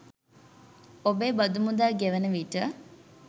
ඔබේ බදු මුදල් ගෙවන විට.